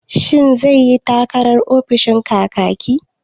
Shin zai yi takarar ofishin Kakaki?